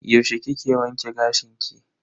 Yaushe kike wanke gashin ki?